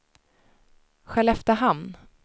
Skelleftehamn